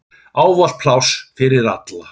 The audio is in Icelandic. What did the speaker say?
Ávallt pláss fyrir alla.